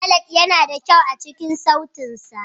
Ballad yana da kyau a cikin sautin sa.